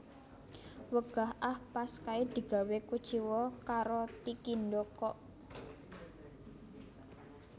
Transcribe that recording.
Wegah ah pas kae digawe kuciwa karo Tikindo kok